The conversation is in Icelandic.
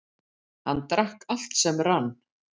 Hann drakk allt sem rann.